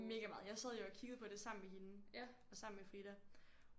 Mega meget jeg sad jo og kiggede på det sammen med hende og sammen med Frida